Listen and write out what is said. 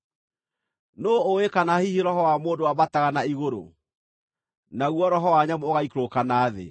Nũũ ũũĩ kana hihi roho wa mũndũ wambataga na igũrũ, naguo roho wa nyamũ ũgaikũrũka na thĩ?”